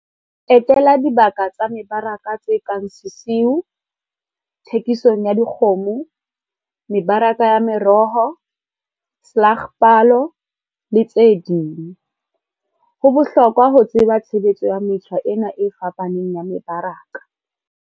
Etela dibaka tsa mebaraka tse kang sesiu, thekisong ya dikgomo, mebaraka ya meroho, slagpalo, le tse ding. Ho bohlokwa ho tseba tshebetso ya metjha ena e fapaneng ya mebaraka.